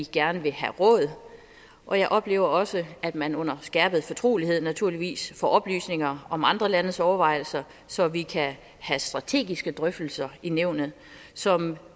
gerne vil have råd og jeg oplever også at man under skærpet fortrolighed naturligvis får oplysninger om andre landes overvejelser så vi kan have strategiske drøftelser i nævnet som